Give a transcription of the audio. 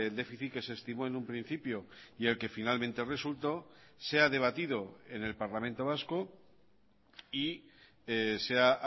déficit que se estimó en un principio y el que finalmente resultó sea debatido en el parlamento vasco y sea